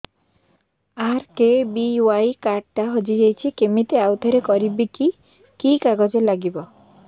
RKBY card ଟା ହଜିଯାଇଛି କିମିତି ଆଉଥରେ କରିବି କି କି କାଗଜ ଲାଗିବ